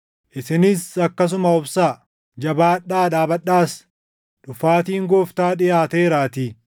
Isinis akkasuma obsaa; jabaadhaa dhaabadhaas; dhufaatiin Gooftaa dhiʼaateeraatii.